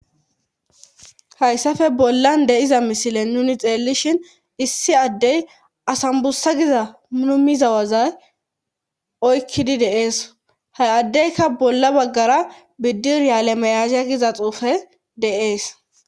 Hayssafe bollan deiza misile nuni xeellishin issi addey asambussa giza mnumizawazay oykkidi deees ha addeyka bolla baggara biddiryale meyasia giza xuufe deees